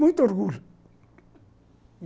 Muito orgulho